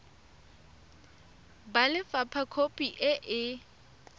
ba lefapha khopi e e